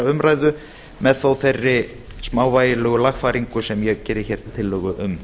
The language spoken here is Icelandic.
umræðu með þó þeirri smávægilegu lagfæringu sem ég gerði hér tillögu um